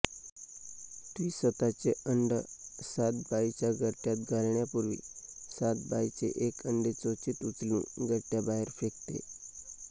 ती स्वतःचे अंड सातभाईच्या घरट्यात घालण्यापूर्वी सातभाईचे एक अंडे चोचीत उचलून घरट्याबाहेर फेकते